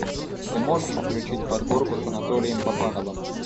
ты можешь включить подборку с анатолием папановым